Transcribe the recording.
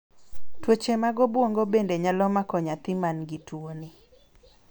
tuoche mag obuongo bende nyalo mako nyathi mangi tuo ni